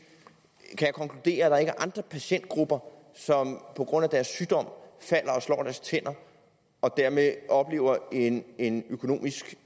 jeg kan konkludere at der ikke er andre patientgrupper som på grund af deres sygdom falder og slår deres tænder og dermed oplever en en økonomisk